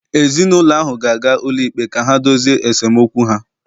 Ezinụlọ ahụ ga-aga ụlọikpe ka ha dozie esemokwu ha